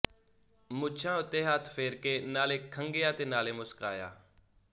ਮੁੱਛਾਂ ਉੱਤੇ ਹੱਥ ਫੇਰ ਕੇ ਨਾਲੇ ਖੰਘਿਆ ਤੇ ਨਾਲੇ ਮੁਸਕਾਇਆ